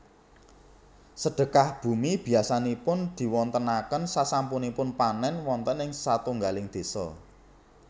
Sedhekah bumi biasanipun dipunwontenaken sasampunipun panèn wonten satunggaling désa